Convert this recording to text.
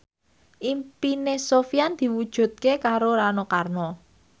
impine Sofyan diwujudke karo Rano Karno